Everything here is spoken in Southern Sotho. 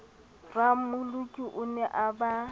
rammoloki o ne a ba